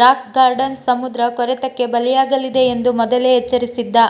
rock garden ಸಮುದ್ರ ಕೊರೆತಕ್ಕೆ ಬಲಿಯಾಗಲಿದೆ ಎಂದು ಮೊದಲೇ ಎಚ್ಚರಿಸಿದ್ದ